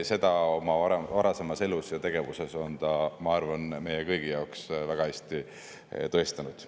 Seda on ta oma varasemas elus ja tegevuses, ma arvan, meie kõigi jaoks väga hästi tõestanud.